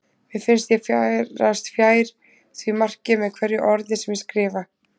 Mér finnst ég færast fjær því marki með hverju orði sem ég skrifa.